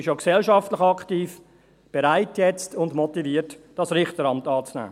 Sie ist auch gesellschaftlich aktiv, jetzt bereit und motiviert, das Richteramt anzunehmen.